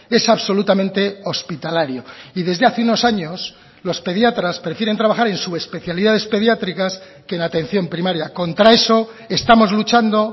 es absolutamente hospitalario y desde hace unos años los pediatras prefieren trabajar en su especialidades pediátricas que en atención primaria contra eso estamos luchando